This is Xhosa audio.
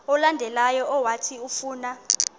olandelayo owathi ufuna